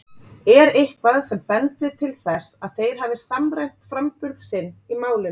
Er eitthvað sem bendir til þess að þeir hafi samræmt framburð sinn í málinu?